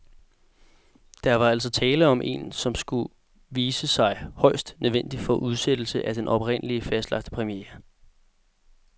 Der var altså tale om en, som det skulle vise sig, højst nødvendig udsættelse af den oprindeligt fastlagte premiere.